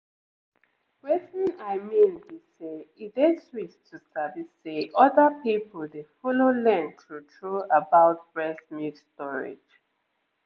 wetin i mean be say e dey sweet to sabi say other people dey follow learn true-true about breast milk storage